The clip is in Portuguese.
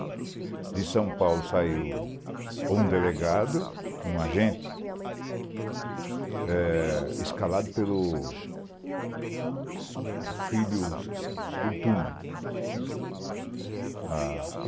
De São Paulo saiu um delegado e um agente, eh escalado pelo filho, o se segundo turma.